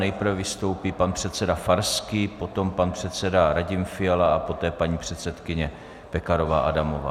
Nejprve vystoupí pan předseda Farský, potom pan předseda Radim Fiala a poté paní předsedkyně Pekarová Adamová.